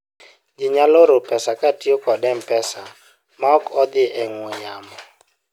ji nyalo oro pesa kotiyo kod mpesa maok odhi e ong'we yamo